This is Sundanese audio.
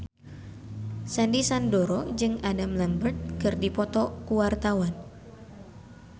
Sandy Sandoro jeung Adam Lambert keur dipoto ku wartawan